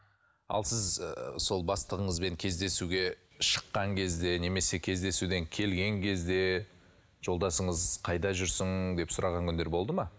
ал сіз ыыы сол бастығыңызбен кездесуге шыққан кезде немесе кездесуден келген кезде жолдасыңыз қайда жүрсің деп сұраған күндер болды ма